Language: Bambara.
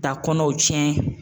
Ka kɔnɔw tiɲɛ.